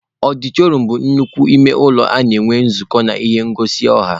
Ọdịtọrịọm bụ nnukwu ime ụlọ a na-enwe nzukọ na ihe ngosi ọha.